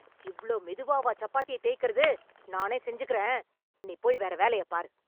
இவ்ளோ மெதுவாவா சப்பாத்திய தேய்க்கறது? நானே செஞ்சுக்கறேன். நீ போய் வேற வேலயப் பாரு.